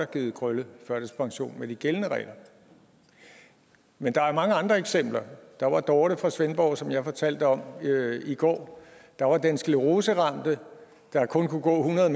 givet krølle førtidspension med de gældende regler men der er mange andre eksempler der var dorte fra svendborg som jeg fortalte om i går der var den scleroseramte der kun kunne gå hundrede